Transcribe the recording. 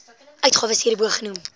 uitgawes hierbo genoem